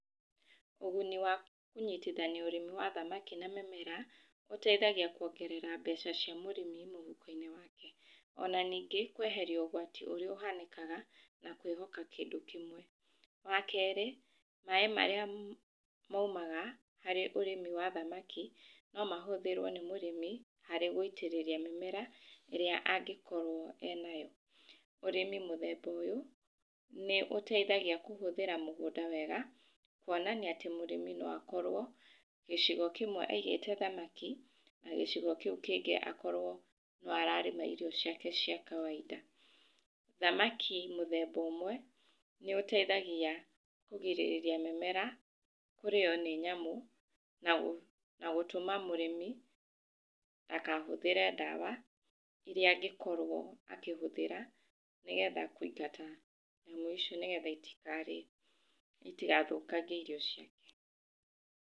Ũguni wa kũnyitihania ũrĩmi wa thamaki na mĩmera ũteithagia kwongerera mbeca cia mũrĩmi mũhuko-inĩ wake. Ona ningĩ kweheria ũgwati ũrĩa ũhanĩkaga na kwĩhoka kĩndũ kĩmwe. Wakerĩ, maaĩ marĩa maumaga harĩ ũrĩmi wa thamaki no mahũthĩrwo nĩ mũrĩmi harĩ gwĩtĩrĩria mĩmera ĩrĩa angĩkorwo enayo. Ũrĩmi mũthemba ũyũ nĩũteithagia kũhũthĩra mũgũnda wega, kwonanĩatĩ mũrĩmi noakorwo gĩcigo kĩmwe aigĩte thamaki na gĩcigo kĩu kĩngĩ akorwo no ararĩma irio ciake cia kawaida. Thamaki mũthemba ũmwe nĩũteithagia kũgirĩrĩria mĩmera kũrĩywo nĩ nyamũ nagũ, na gũtũma mũrĩmi ndakahũthĩre ndawa iria angĩkorwo akĩhũthĩra nĩgetha kũingata nyamũ icio nĩgetha itikarĩe, itigathũkangie irio ciake.